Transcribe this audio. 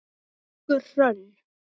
Elsku Hrönn.